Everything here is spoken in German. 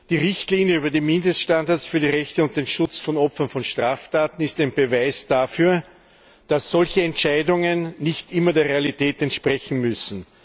Die Richtlinie über die Mindeststandards für die Rechte und den Schutz von Opfern von Straftaten ist ein Beweis dafür, dass solche Entscheidungen nicht immer der Realität entsprechen müssen.